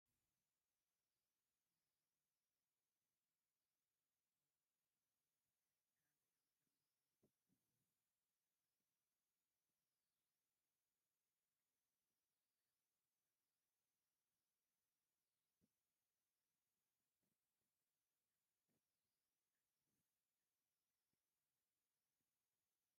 ኣብዚ ኣብ መኣዲ ዝተዘርግሑ ናይ ምግቢ ኣቑሑት ኣለዉ። ካብዚኦም ጥርሙዝ ዘይቲ፡ ሓርጭ፡ እንቋቑሖ፡ዝተፈላለየ ሕብሪ መግቢን ቀመማትን ይርከብዎም። ኣብ መኣዲ ምግቢ ይዳሎ ኣሎ። ኣብቲ መንደቕ ጻዕዳ መስመራት ዘለዎ ጸሊም መስኮት ይርአ። ኣብዚ ስእሊ ኣብ ጣውላ ዘለዉ ኣቑሑት ንምንታይ ይውዕሉ?